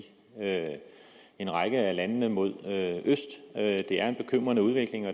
en række af landene mod øst det er en bekymrende udvikling og